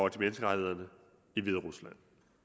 af menneskerettighederne i hviderusland